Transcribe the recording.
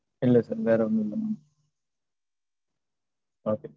இல்ல mam வேற ஒன்னு இல்ல mam okay